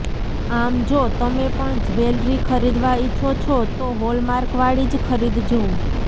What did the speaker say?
આમ જો તમે પણ જ્વેલરી ખરીદવા ઇચ્છો છો તો હોલમાર્કવાળી જ ખરીદજો